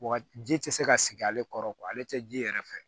Wa ji tɛ se ka sigi ale kɔrɔ ale tɛ ji yɛrɛ fɛ